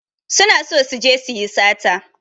Su na so su je su yi sata.